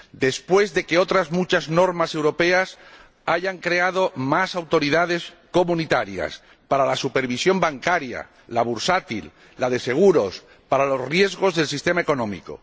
después de que otras muchas normas europeas hayan creado más autoridades comunitarias para la supervisión bancaria, la bursátil, la de seguros, para los riesgos del sistema económico.